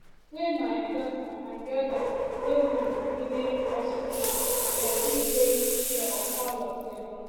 wen my daughter and di odas wey wound bin dey hospital dem bin take care of all of dem